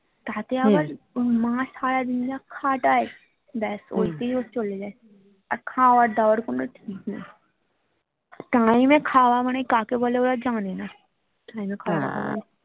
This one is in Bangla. তাতে আবার ওর মা সারাদিন যা খাটায় ব্যাস ঐতেই ওর চলে যায় আর খাওয়ার দাওয়ার কোনো ঠিক নেই time খাওয়া মানে কাকে বলে ওরা জানে না